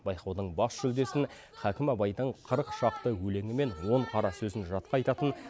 байқаудың бас жүлдесін хәкім абайдың қырық шақты өлеңі мен он қара сөзін жатқа айтатын